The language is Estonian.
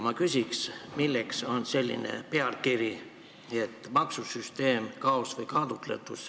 Milleks on siin selline pealkiri: "Maksusüsteem – kaos või kaalutlus"?